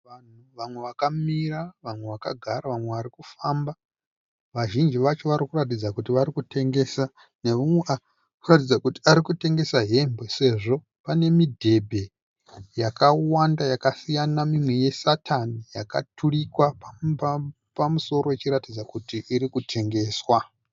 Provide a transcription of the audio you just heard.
Vanhu vamwe vakamira, vamwe vakagara, vamwe vari kufamba. Vazhinji vacho vari kuratidza kuti vari kutengesa neumwe ari kuratidza kuti ari kutengesa hembe sezvo pane midhebhe yakawanda yakasiyana mimwe yesatani yakaturikwa pamusoro ichiratidza kuti iri kutengeswa.